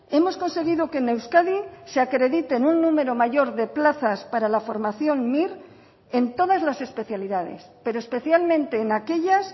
hemos conseguido que en euskadi se acrediten un número mayor de plazas para la formación mir en todas las especialidades pero especialmente en aquellas